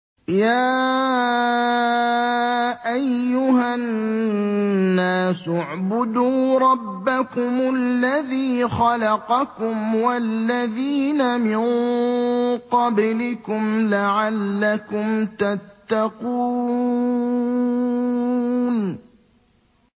يَا أَيُّهَا النَّاسُ اعْبُدُوا رَبَّكُمُ الَّذِي خَلَقَكُمْ وَالَّذِينَ مِن قَبْلِكُمْ لَعَلَّكُمْ تَتَّقُونَ